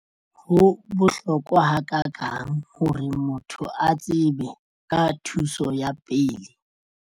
Ho bohlokwa ha ka kang hore motho a tsebe ka thuso ya pele?